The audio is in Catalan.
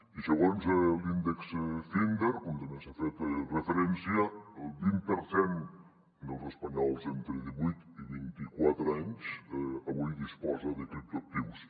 i segons l’índex finder com també s’hi ha fet referència el vint per cent dels espanyols entre divuit i vint i quatre anys avui disposa de criptoactius